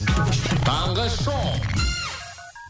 таңғы шоу